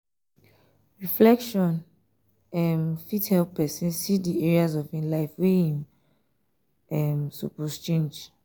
reflection um fit help pesin um see di areas of im life wey im um suppose change.